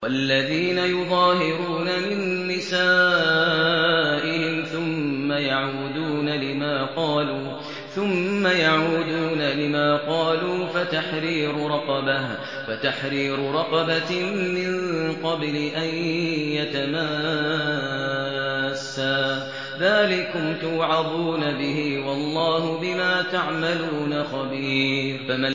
وَالَّذِينَ يُظَاهِرُونَ مِن نِّسَائِهِمْ ثُمَّ يَعُودُونَ لِمَا قَالُوا فَتَحْرِيرُ رَقَبَةٍ مِّن قَبْلِ أَن يَتَمَاسَّا ۚ ذَٰلِكُمْ تُوعَظُونَ بِهِ ۚ وَاللَّهُ بِمَا تَعْمَلُونَ خَبِيرٌ